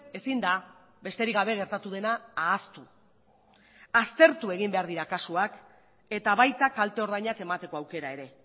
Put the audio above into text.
ezin da besterik gabe gertatu dena ahaztu aztertu egin behar dira kasuak eta baita kalte ordainak emateko aukera ere